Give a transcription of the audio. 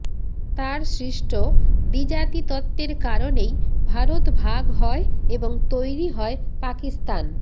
তাঁর সৃষ্ট দ্বিজাতি তত্ত্বের কারণেই ভারত ভাগ হয় এবং তৈরি হয় পাকিস্তান